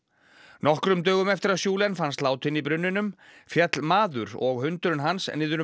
nokkrum dögum eftir að fannst látinn í brunninum féll maður og hundurinn hans niður um